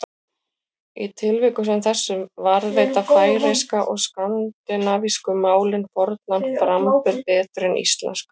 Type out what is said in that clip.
Í tilvikum sem þessum varðveita færeyska og skandinavísku málin fornan framburð betur en íslenska.